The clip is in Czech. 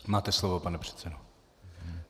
Máte slovo, pane předsedo.